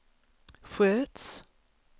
sköts